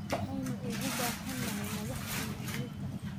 Maxaynu ugu baahanahay madaxda maamulka?